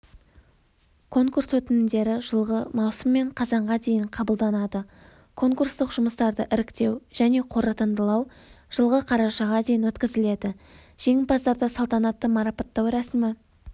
конкурс өтінімдері жылғы маусым мен қазанға дейін қабылданады конкурстық жұмыстарды іріктеу және қорытындылау жылғы қарашаға дейін өткізіледі жеңімпаздарды салтанатты марапаттау рәсімі